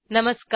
नमस्कार